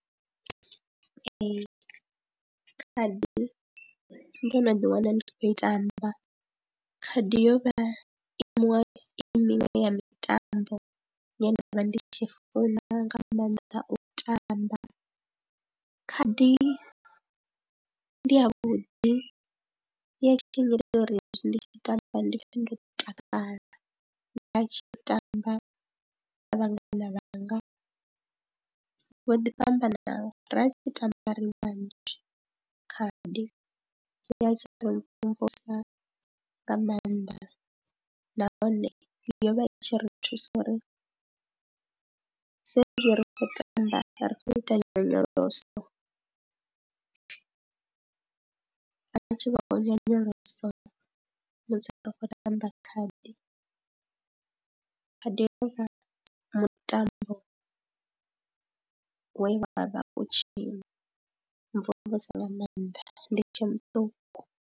Ee, khadi ndo no ḓiwana ndi khou i tamba, khadi yo vha i miṅwe, i miṅwe ya mitambo ine nda vha ndi tshi funa nga maanḓa u i tamba, khadi ndi yavhuḓi ya tshi nnyita uri hezwi ndi tshi i tamba ndi pfhe ndo takala. Nda tshi tamba na vhangana vhanga vho ḓi fhambanana, ra tshi tamba ri vhanzhi khadi, ya tshi ri mvumvusa nga maanḓa nahone yo vha i tshi ri thusa uri sa izwi ri khou tamba ri khou ita nyonyoloso, a tshi vha nyonyoloso musi ri khou tamba khadi, khadi yo vha mutambo we wa vha vha khou tshi mvumvusa nga maanḓa ndi tshe muṱuku.